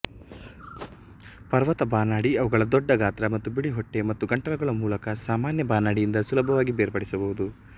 ಪರ್ವತ ಬಾನಾಡಿ ಅವುಗಳ ದೊಡ್ಡ ಗಾತ್ರ ಮತ್ತು ಬಿಳಿ ಹೊಟ್ಟೆ ಮತ್ತು ಗಂಟಲುಗಳ ಮೂಲಕ ಸಾಮಾನ್ಯ ಬಾನಡಿಯಿಂದ ಸುಲಭವಾಗಿ ಬೇರ್ಪಡಿಸಬಹುದು